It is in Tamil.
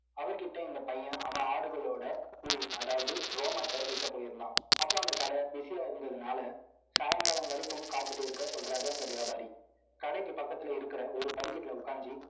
அவர்கிட்ட, இந்த பையன், அவன் ஆடுகளோட புல். அதாவது, ரோமத்தை விற்க போயிருந்தான். அப்ப, அந்த கடை busy ஆ இருந்ததுனால, சாயங்காலம் வரைக்கும், காத்துட்டு இருக்க சொல்றாரு, அந்த வியாபாரி கடைக்கு பக்கத்துல இருக்கிற, ஒரு படிக்கட்டுல உட்கார்ந்து